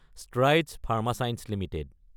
Strides Pharma Science Ltd